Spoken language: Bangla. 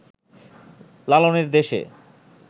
লালনের দেশে